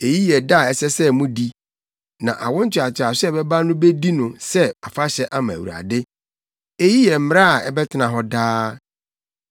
“Eyi yɛ da a ɛsɛ sɛ mudi; na awo ntoatoaso a ɛbɛba no bedi no sɛ afahyɛ ama Awurade. Eyi yɛ mmara a ɛbɛtena hɔ daa.